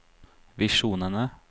visjonene